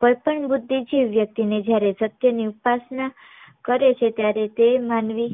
કોઈ પણ બુદ્ધિ થી વ્યક્તિ ને જયારે સત્ય ની ઉપસના કરે છે ત્યારે તે માનવી